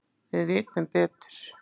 Við vitum betur